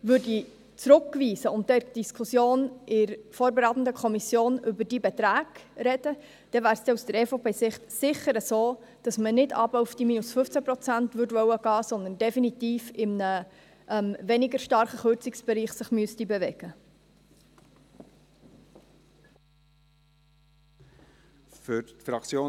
Würde man zurückweisen und in der Diskussion in der vorberatenden Kommission über diese Beträge sprechen, wäre es aus Sicht der EVP sicher so, dass man nicht auf die 15 Prozent hinuntergehen möchte, sondern dass man sich definitiv in einem weniger starken Kürzungsbereich bewegen müsste.